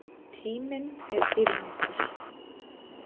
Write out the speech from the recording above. Tíminn er dýrmætur